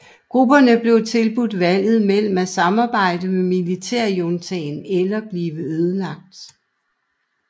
Grupperne blev tilbudt valget mellem at samarbejde med militærjuntaen eller blive ødelagt